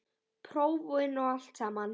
Prófin og allt samana.